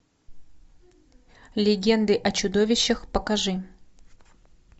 легенды о чудовищах покажи